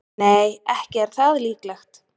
Nei, ekki er það líklegt.